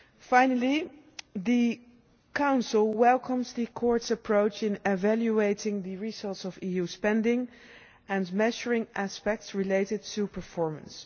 Finally, the Council welcomes the Court's approach in evaluating the results of EU spending and measuring aspects related to performance.